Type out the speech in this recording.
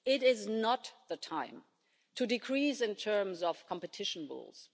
It is not the time to decrease in terms of competition rules.